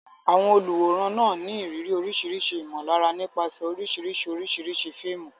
Àwọn olùwòran ní ìrírí oríṣiríṣi ìmọ̀lára nípasẹ̀ oríṣiríṣi oríṣiríṣi fíìmù.